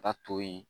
Ka to yen